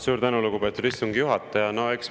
Suur tänu, lugupeetud istungi juhataja!